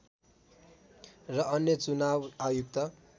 र अन्य चुनाव आयुक्त